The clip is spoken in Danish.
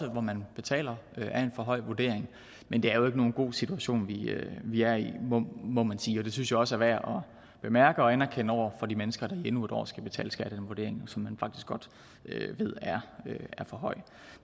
hvor man betaler af en for høj vurdering men det er jo ikke nogen god situation vi er i må man sige og det synes jeg også er værd bemærke og anerkende over for de mennesker der endnu et år skal betale skat af en vurdering som man faktisk godt ved er for høj